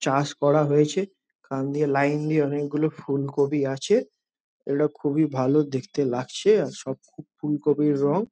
চাষ করা হয়েছে এখান দিয়ে লাইন দিয়ে অনেকগুলো ফুলকপি আছে। ইটা খুব এই ভালো দেখতে লাগছে আর সব ফুলকপির রং --